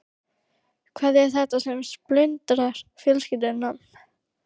Hvað er þetta sem splundrar fjölskyldum?